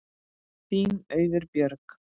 Þín Auður Björg.